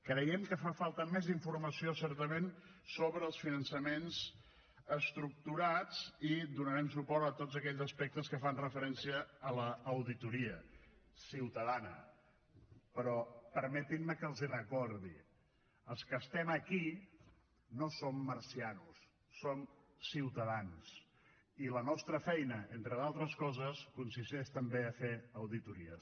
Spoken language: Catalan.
creiem que fa falta més informació certament sobre els finançaments estructurats i donarem suport a tots aquells aspectes que fan referència a l’auditoria ciutadana però permetin me que els ho recordi els que estem aquí no som marcians som ciutadans i la nostra feina entre d’altres coses consisteix també a fer auditories